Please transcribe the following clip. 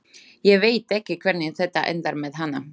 Ég veit ekki hvernig þetta endar með hana.